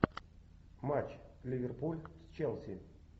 матч ливерпуль с челси